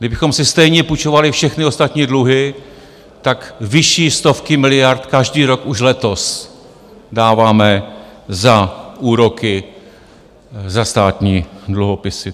Kdybychom si stejně půjčovali všechny ostatní dluhy, tak vyšší stovky miliard každý rok, už letos, dáváme za úroky za státní dluhopisy.